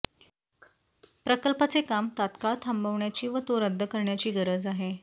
प्रकल्पाचे काम तात्काळ थांबवण्याची व तो रद्द करण्याची गरज आहे